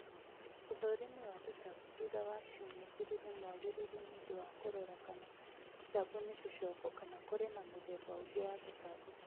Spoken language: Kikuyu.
ũthũrĩmĩ wa tũtambĩ thũtha wa cĩũmĩa ĩgĩrĩ nĩ mwagĩrĩrũ nĩũndũ wa kũrora kana tũtambĩ nĩtũcokũ kana kũrĩ na mũthemba ũngĩ wa tũtambĩ